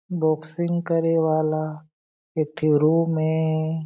boxing करे वाला एक ठी रूम ए--